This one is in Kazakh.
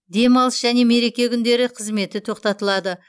демалыс және мереке күндері қызметі тоқтатылады